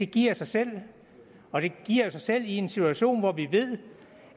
giver sig selv og det giver jo sig selv i en situation hvor vi ved